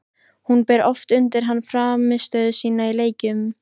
Hún ber oft undir hann frammistöðu sína í leikjum.